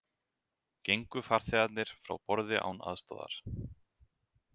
Gengu farþegarnir frá borði án aðstoðar